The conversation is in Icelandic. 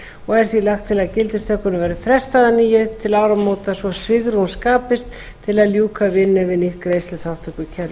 og er því lagt til að gildistökunni verði frestað að nýju til áramóta svo svigrúm skapist til að ljúka vinnu við nýtt greiðsluþátttökukerfi